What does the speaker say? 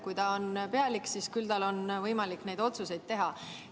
Kui ta on pealik, siis on tal küll võimalik neid otsuseid teha.